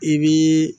I b'i